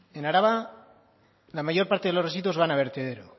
en araba la mayor parte de los residuos van a vertedero